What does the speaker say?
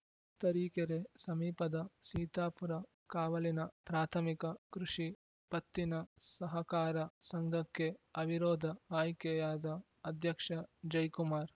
ತರೀಕೆರೆ ಸಮೀಪದ ಸೀತಾಪುರ ಕಾವಲಿನ ಪ್ರಾಥಮಿಕ ಕೃಷಿ ಪತ್ತಿನ ಸಹಕಾರ ಸಂಘಕ್ಕೆ ಅವಿರೋಧ ಆಯ್ಕೆಯಾದ ಅಧ್ಯಕ್ಷ ಜಯ್‌ಕುಮಾರ್‌